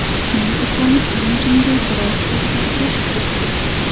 Shuning uchun imijimga biroz o‘zgartirish kiritdik.